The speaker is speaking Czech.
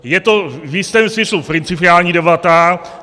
Je to v jistém smyslu principiální debata.